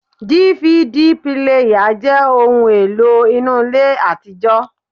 DVD píléyà jẹ́ ohun èlò inú ilé àtijọ́